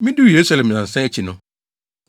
Miduu Yerusalem nnansa akyi no,